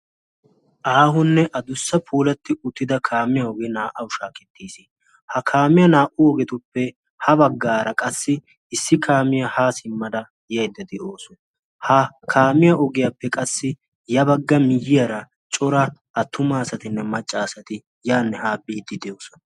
Aahonne a dussa puulatti uttida kaamiya ogee naa"awu shaakettiis. ha kaamiya naa"u ogeetuppe ha baggaara qassi issi kaamiyaa haa simmada yaydda de'awusu ha kaamiya ogiyaappe qassi ya bagga miyyiyaara cora attuma asatinne maccaasati yaanni haa biiddi de'oosona.